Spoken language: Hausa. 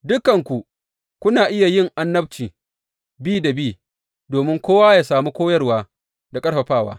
Dukanku kuna iya yin annabci bi da bi, domin kowa yă sami koyarwa da ƙarfafawa.